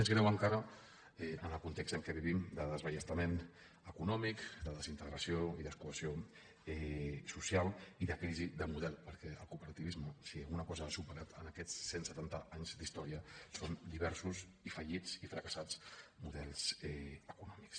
més greu encara en el context en què vivim de desballestament econòmic de desintegració i descohesió social i de crisi de model perquè el cooperativisme si alguna cosa ha superat en aquests cent setanta anys d’història són diversos i fallits i fracassats models econòmics